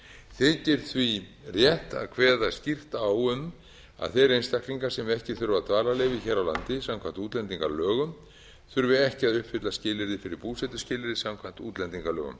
þykir því rétt að kveða skýrt á um að þeir einstaklingar sem ekki þurfa dvalarleyfi hér á landi samkvæmt útlendingalögum þurfi ekki að uppfylla skilyrði fyrir búsetuskilyrði samkvæmt útlendingalögum